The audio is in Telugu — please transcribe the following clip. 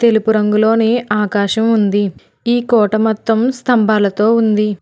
తెలుపు రంగులోనే ఆకాశం ఉంది ఈ కోట మొత్తం స్తంభాలతో ఉంది.